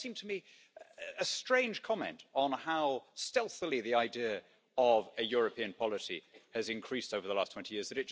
It does seem to me a strange comment on how stealthily the idea of a European policy has increased over the last 20 years